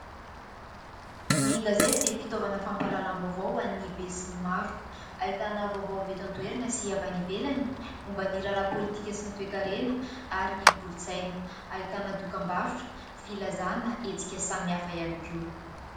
Ny gazety dia fitaovana fampahalalam-baovao ho an'ny be sy ny maro, ahitana vaovao avy eto an-toerana sy avy any ivelany momba ny raharaha pôlitika sy ny toe-karena ary ny kolontsaina ; ahitana dokam-barotra, filazana hetsika samihafa ihany koa.